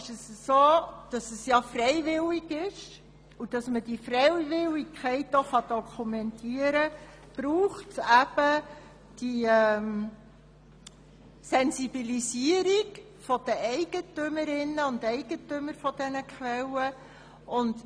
Es ist ja freiwillig, und um diese Freiwilligkeit zu dokumentieren, braucht es eine Sensibilisierung der Eigentümerinnen und Eigentümer der Quellen.